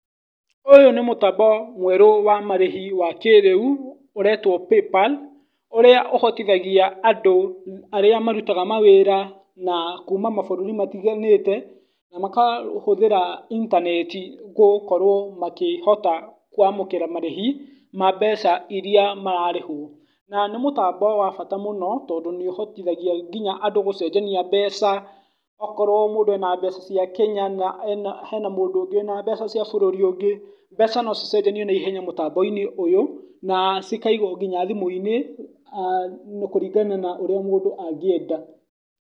Ũyũ nĩ mũtambo mwerũ wa marĩhi wa kĩrĩũ, ũretwo paypal ũrĩa ũhotithagia andũ arĩa marutaga mawĩra na kuma mabũrũri matiganĩte na makahũthĩra intaneti gũkorwo makĩhota kwamũkĩra marĩhi ma mbeca iria mararĩhwo. Na nĩ mũtambo wa bata mũno tondũ nĩ ũhotithagia nginya andũ gũcenjania mbeca, okorwo andũ mena mbeca ciake, akorwo hena mũndũ ena mbeca cia bũrũri ũngĩ, mbeca no cicenjanio na ihenya mũtambo-inĩ ũyũ na cikaigwo nginya thimũ-inĩ kũringana na ũrĩa mũndũ angĩenda.